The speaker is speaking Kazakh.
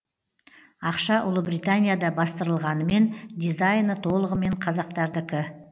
ақша ұлыбританияда бастырылғанымен дизайны толығымен қазақтардікі